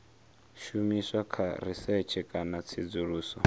shumiswa kha risetshe kana tsedzuluso